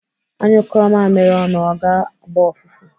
À nyụkụọ mamiri ọnụ, ọ ga-agba ụfụfụ.